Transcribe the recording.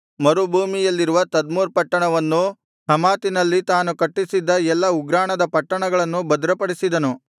ಮರುಭೂಮಿಯಲ್ಲಿರುವ Tadmor ಪಟ್ಟಣವನ್ನೂ ಹಮಾತಿನಲ್ಲಿ ತಾನು ಕಟ್ಟಿಸಿದ್ದ ಎಲ್ಲಾ ಉಗ್ರಾಣದ ಪಟ್ಟಣಗಳನ್ನೂ ಭದ್ರಪಡಿಸಿದನು